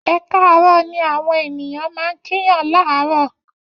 Ẹ káàárọ̀ ni àwọn ènìyàn máa ń kíyaàn láàárọ̀.